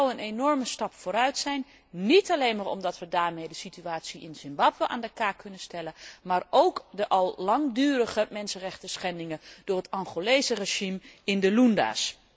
Dat zou een enorme stap vooruit zijn, niet alleen maar omdat we daarmee de situatie in Zimbabwe aan de kaak kunnen stellen, maar ook de al langdurige mensenrechtenschendingen door het Angolese regime in de Lunda's.